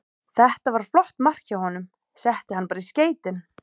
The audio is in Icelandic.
Þetta var flott mark hjá honum, setti hann bara í skeytin.